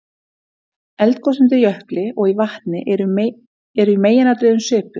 Eldgos undir jökli og í vatni eru í meginatriðum svipuð.